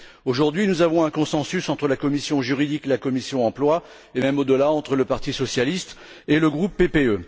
Aujourd'hui, nous avons un consensus entre la commission juridique et la commission de l'emploi, et même au delà, entre le parti socialiste et le groupe PPE.